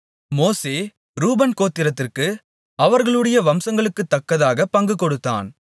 மோசே ரூபன் கோத்திரத்திற்கு அவர்களுடைய வம்சங்களுக்குத்தக்கதாகப் பங்கு கொடுத்தான்